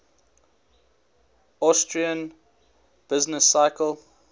austrian business cycle